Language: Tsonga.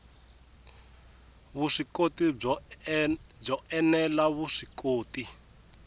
vuswikoti byo ene la vuswikoti